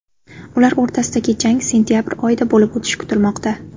Ular o‘rtasidagi jang sentabr oyida bo‘lib o‘tishi kutilmoqda.